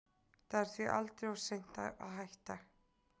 Það er því aldrei of seint að hætta.